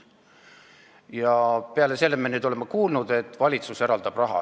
Ja peale selle oleme nüüd kuulnud, et valitsus eraldab raha.